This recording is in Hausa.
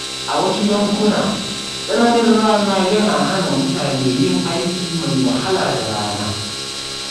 A wasu yankuna, tsananin rana yana hana mutane yin aiki mai wahala da rana.